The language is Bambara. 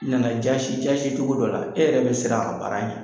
Nana jasi jasi cogo dɔ la e yɛrɛ bɛ siran a baara ɲɛ.